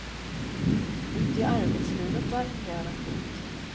Och ute i arbetslivet, där fungerar den fint.